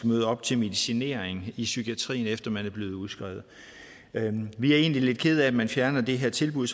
møde op til medicinering i psykiatrien efter man er blevet udskrevet vi er egentlig lidt kede af at man fjerner det her tilbud